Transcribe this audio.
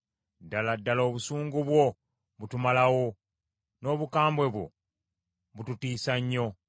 Ddala ddala obusungu bwo butumalawo, n’obukambwe bwo bututiisa nnyo.